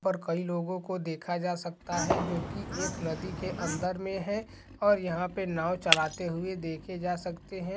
यहाँ पर कई लोगों को देखा जा सकता है जो की एक नदी के अंदर मे है और यहाँ पे नांव चलाते हुए देखे जा सकते है।